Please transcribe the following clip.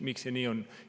Miks see nii on?